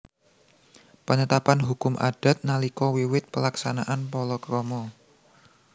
Penetapan hukum Adat nalika wiwit Pelaksanaan Palakrama